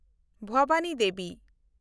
ᱵᱷᱚᱵᱟᱱᱤ ᱫᱮᱵᱤ